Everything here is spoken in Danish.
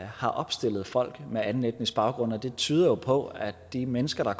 har opstillet folk med anden etnisk baggrund og det tyder jo på at de mennesker der